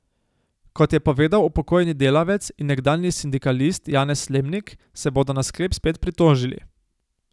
Kot je povedal upokojeni delavec in nekdanji sindikalist Janez Slemnik, se bodo na sklep spet pritožili.